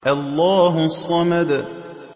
اللَّهُ الصَّمَدُ